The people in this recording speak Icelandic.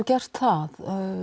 gert það